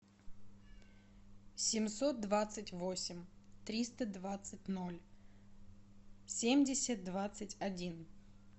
семьсот двадцать восемь триста двадцать ноль семьдесят двадцать один